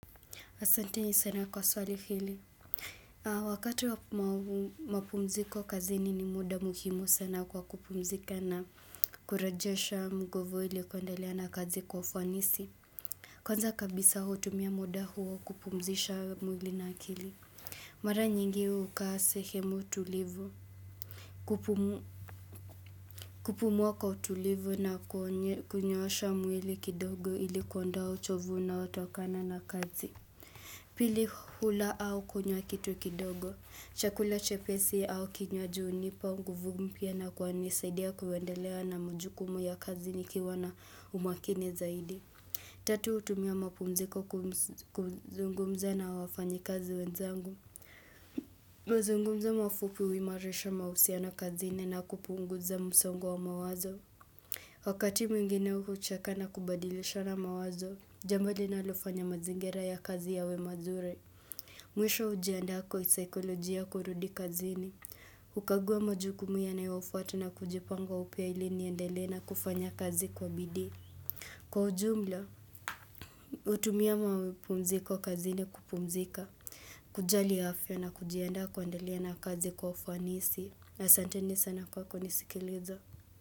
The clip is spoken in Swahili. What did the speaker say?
Asanteni sana kwa swali hili. Wakati wa mapumziko kazini ni muda muhimu sana kwa kupumzika na kurajesha nguvu ili kuendalea na kazi kwa ufunisi. Kwanza kabisa hutumia muda huo kupumzisha mwili na kili. Mara nyingi hukaa sehemu tulivu. Kupumua kwa tulivu na kunyoosha mwili kidogo ili kuonda uchovu unaotokana na kazi. Pili hula au kunywa kitu kidogo, chakula chepesi au kinywaji hunipa nguvu mpya na kunisaidia kuendelea na mujukumu ya kazi nikiwa na umakini zaidi. Tatu hutumia mapumziko kuzungumza na wafanyi kazi wenzangu. Mazungumza mafupi huimarisha mahusiano kazini na kupunguza msongo wa mawazo. Wakati mwingine hucheka na kubadilishana mawazo, jambo linalofanya mazingira ya kazi yawe mazuri. Mwisho hujiandaa kisaikolojia kurudi kazini. Kukaguwa majuku yanayofuata na kujipanga upya ili nindelee na kufanya kazi kwa bidi. Kwa ujumla, hutumia mapumziko kazini kupumzika. Kujali afya na kujiandaa kuendelea na kazi kwa ufanisi. Asanteni sana kwa kunisikiliza.